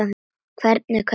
Hvernig og hvers vegna?